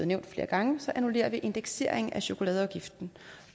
nævnt flere gange annullerer indekseringen af chokoladeafgiften